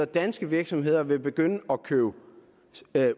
danske virksomheder vil begynde at købe